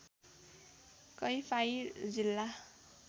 कैफाइर जिल्ला